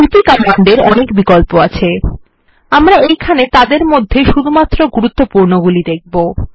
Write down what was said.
CP command এর অনেক বিকল্প আছে আমরা এইখানে তাদের মধ্যে শুধুমাত্র গুরুত্বপূর্ণ গুলি দেখব